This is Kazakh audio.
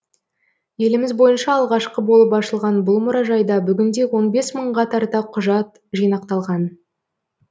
еліміз бойынша алғашқы болып ашылған бұл мұражайда бүгінде он бес мыңға тарта құжат жинақталған